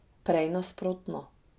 Prej nasprotno.